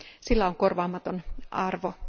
Sillä on korvaamaton arvo.